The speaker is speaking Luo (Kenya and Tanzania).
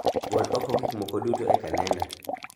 Gol oko gik moko duto e kalenda